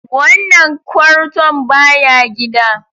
Wannan kwarton baya gida.